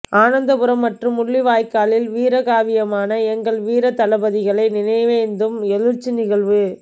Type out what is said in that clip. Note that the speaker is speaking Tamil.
ஆனந்தபுரம் மற்றும் முள்ளிவாய்க்காலில் வீரகாவியமான எங்கள் வீரத் தளபதிகளை நினைவேந்தும் எழுச்சி நிகழ்வு